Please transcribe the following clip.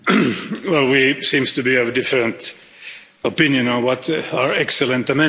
We seem to be of a different opinion on what are excellent amendments.